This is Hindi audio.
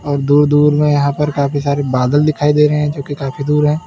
और दूर दूर में यहां पर काफी सारे बादल दिखाई दे रहे हैं जो की काफी दूर है।